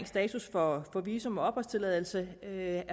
status for visum og opholdstilladelse er